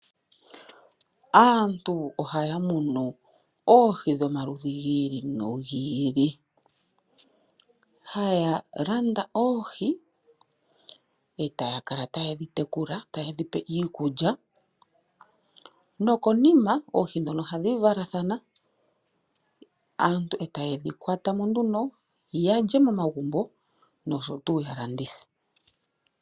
Aantu okay munu oohi dhoma ludhi gi ili nogi ili haya landa oohi etaya kala taye dhi tekula taye dhi pe iikulya, no konima oohi ndhono ohadhi valathana aantu etayi dhi kwata mo nduno ya lye momagumbo osho wo ya landithe.